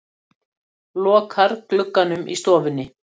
Lokar glugganum í stofunni.